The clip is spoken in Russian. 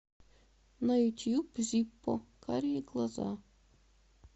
на ютуб зиппо карие глаза